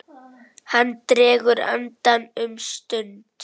Hann dregur andann um stund.